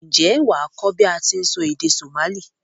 N jé wàá kó bi a ti n sọ èdè Somali